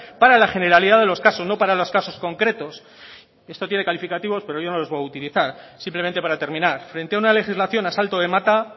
para la generalidad de los casos no para los casos concretos y esto tiene calificativos pero yo no los voy a utilizar simplemente para terminar frente a una legislación a salto de mata